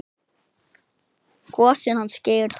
Gosinn hans Geira.